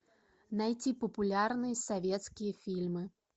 найти популярные советские фильмы